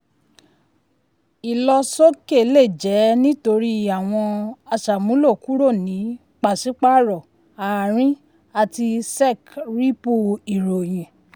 ìlọsọ́kè lè jẹ́ nítorí àwọn aṣàmúlò kúrò ní pàṣípàrọ̀ àárín àti sec-ripple ìròyìn.